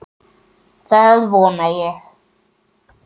Það vona ég